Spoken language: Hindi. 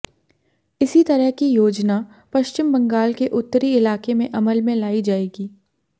इसी तरह की योजना पश्चिम बंगाल के उत्तरी इलाके में अमल में लाई जाएगी